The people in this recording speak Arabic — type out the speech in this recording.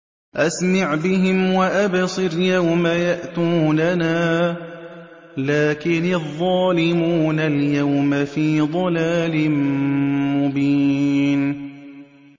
أَسْمِعْ بِهِمْ وَأَبْصِرْ يَوْمَ يَأْتُونَنَا ۖ لَٰكِنِ الظَّالِمُونَ الْيَوْمَ فِي ضَلَالٍ مُّبِينٍ